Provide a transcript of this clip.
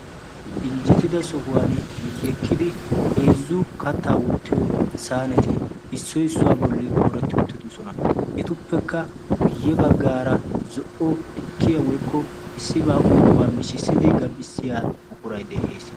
injjetida sohuwan miyyekkidi heezzu kattaa wottiyo saaneti issoi issuwaa bolli dooretti uttidosona etuppekka guyye baggaara zo''o tukkiya woikko issibaa uiyoobaa mishissidi gam''issiya mukurai de'ees